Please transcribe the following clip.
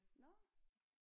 Nå